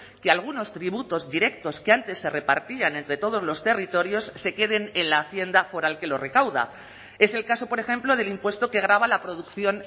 que algunos tributos directos que antes se repartían entre todos los territorios se queden en la hacienda foral que lo recauda es el caso por ejemplo del impuesto que grava la producción